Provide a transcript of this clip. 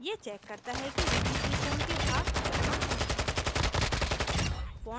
यह checks करता है कि यदि त्रिकोण के भाग असमान हैं